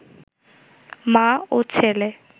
মা ও ছেলে